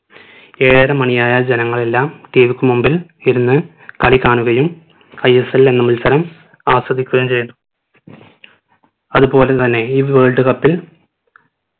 ഏഴര മണിയായാൽ ജനങ്ങളെല്ലാം TV ക്കു മുമ്പിൽ ഇരുന്ന് കളി കാണുകയും ISL എന്ന മത്സരം ആസ്വദിക്കുകയും ചെയ്യുന്നു അത് പോലെ തന്നെ ഈ world cup ൽ